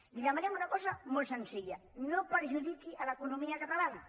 li demanem una cosa molt senzilla no perjudiqui l’economia catalana